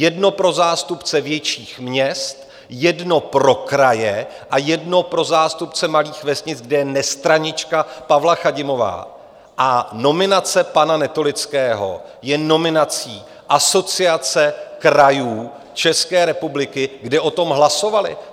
Jedno pro zástupce větších měst, jedno pro kraje a jedno pro zástupce malých vesnic, kde je nestranička Pavla Chadimová, a nominace pana Netolického je nominací Asociace krajů České republiky, kde o tom hlasovali.